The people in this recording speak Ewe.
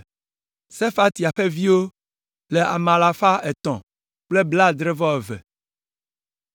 Sefatia ƒe viwo le ame alafa etɔ̃ kple blaadre-vɔ-eve (372).